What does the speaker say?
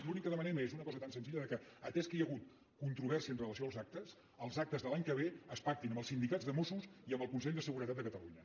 l’únic que demanem és una cosa tan senzilla com atès que hi ha hagut controvèrsia amb relació als actes els actes de l’any que ve es pactin amb els sindicats de mossos i amb el consell de seguretat de catalunya